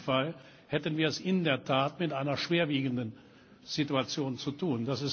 In diesem Fall hätten wir es in der Tat mit einer schwerwiegenden Situation zu tun.